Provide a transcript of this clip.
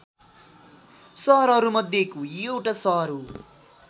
सहरहरूमध्येको एउटा सहर हो